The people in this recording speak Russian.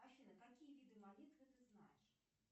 афина какие виды молитвы ты знаешь